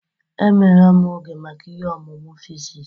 Emeela m oge maka ihe ọmụmụ physics.